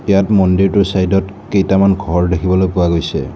ইয়াত মন্দিৰটোৰ চাইডত কেইটামান ঘৰ দেখিবলৈ পোৱা গৈছে।